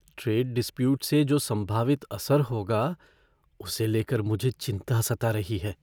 Trade dispute से जो संभावित असर होगा, उसे लेकर मुझे चिंता सता रही है।